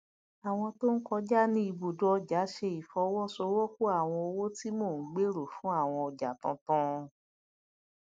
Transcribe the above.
àwọn tó ń kọjá ní ibùdó ọjà ṣe ìfọwọsowọpọ àwọn owó tí mo ń gbero fún àwọn ojà tuntun